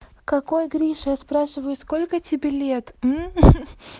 какой гриша я спрашиваю сколько тебе лет